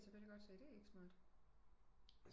Det kan jeg selvfølgelige godt se det er ikke så smart